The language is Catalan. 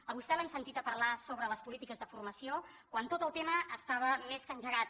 a vostè l’hem sentit a parlar sobre les polítiques de formació quan tot el tema estava més que engegat